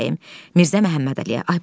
Zəhra bəyəm, Mirzə Məhəmmədəliyə.